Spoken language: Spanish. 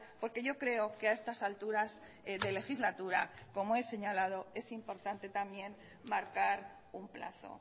porque yo creo que a estas alturas de legislatura como he señalado es importante también marcar un plazo